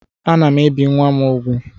Ana m ebi nwa m úgwù